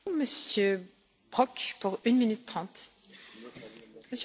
Frau Präsidentin, Herr Kommissar, Herr Ratspräsident, meine Damen und Herren!